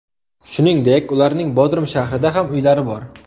Shuningdek ularning Bodrum shahrida ham uylari bor.